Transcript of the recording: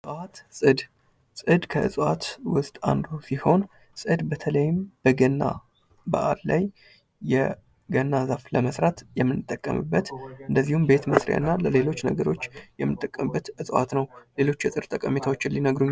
እጽዋት ፅድ ፡-ፅድ ከእጽዋት ውስጥ አንዱ ሲሆን በተለይም በገና በዓል ላይ የገና ዛፍ ለመስራት የምንጠቀምበት እንደዚሁም ቤት መስሪያና ለሌሎች ነገሮች የምንጠቀምበት እጽዋት ነው። ሌሎች የፅድ የጠቀሜታዎች ሊነግሩን ይችላሉ።